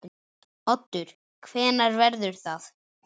Oddur: Hvenær verður það?